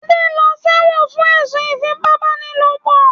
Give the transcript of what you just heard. Adé lọ sẹ́wọ̀n fún ẹ̀sùn ìfípábánilòpọ̀.